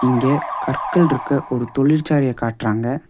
இங்க கற்கள்ருக்க ஒரு தொழிற்சாலைய காட்றாங்க.